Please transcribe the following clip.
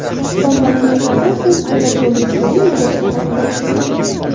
Bombardimonlardan so‘ng aerodromning sun’iy yo‘ldoshdan olingan surati.